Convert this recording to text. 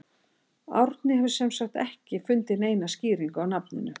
Árni hefur sem sagt ekki fundið neina skýringu á nafninu.